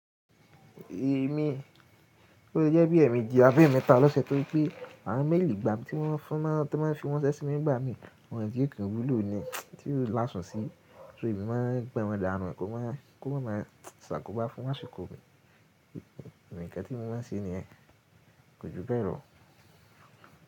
Èmi, ó lè jẹ́ bí è méjì àbí mẹ́ta lọ́sẹ̀ torí pé àwọn mélìì ìgbà tí wọ́n fún máa fi ránṣẹ́ sí mi nígbà mí, wọ́n ti o kan wúlò ni, tí ò láso si. So èmi máa ń gba wọn dànù kó má kó máa ń máa ṣàkóbá fún àsìkò mi. Ǹkan tí mo máa ń ṣe ni yẹ́n, kò ju bẹ́ẹ̀ lọ.